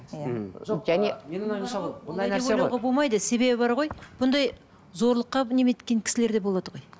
себебі бар ғой бұндай зорлыққа немене еткен кісілер де болады ғой